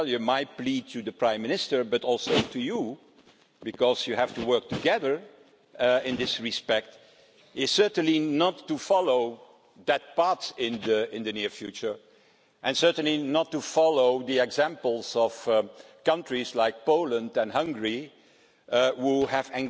My plea to the Prime Minister, but also to you because you have to work together in this respect is certainly not to follow that path in the near future and certainly not to follow the examples of countries like Poland and Hungary, which have